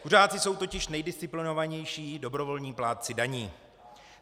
Kuřáci jsou totiž nejdisciplinovanější dobrovolní plátci daní.